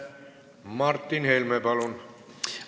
Martin Helme, palun!